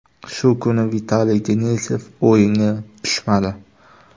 Shu kuni Vitaliy Denisov o‘yinga tushmadi.